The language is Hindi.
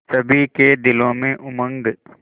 सभी के दिलों में उमंग